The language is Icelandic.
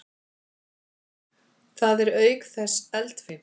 Það er auk þess eldfimt.